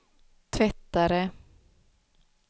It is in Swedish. tvättare